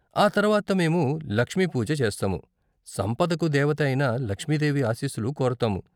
ఆ తర్వాత మేము 'లక్ష్మీ పూజ' చేస్తాము, సంపదకు దేవత అయిన లక్ష్మీదేవి ఆశీస్సులు కోరతాము.